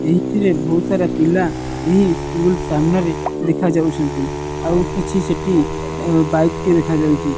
ଏହିଥିରେ ବୋହୁତ ସାରା ପିଲା ଏହି ସ୍କୁଲ ସାମ୍ନାରେ ଦେଖା ଯାଉଛନ୍ତି। ଆଉ କିଛି ସେଠି ବାଇକ୍ ଦେଖା ଯାଉଚି।